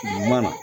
Mana